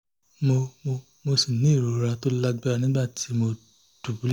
mo mo ṣì ní ìrora tó lágbára nígbà tí mo dùbúlẹ̀